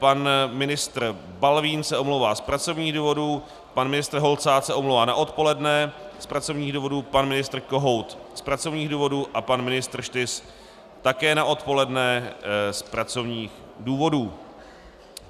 Pan ministr Balvín se omlouvá z pracovních důvodů, pan ministr Holcát se omlouvá na odpoledne z pracovních důvodů, pan ministr Kohout z pracovních důvodů a pan ministr Štys také na odpoledne z pracovních důvodů.